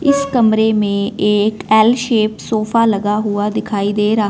इस कमरे में एक एल शेप सोफा लगा हुआ दिखाई दे रहा--